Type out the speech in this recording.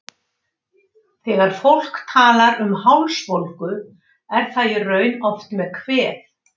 Þegar fólk talar um hálsbólgu er það í raun oft með kvef.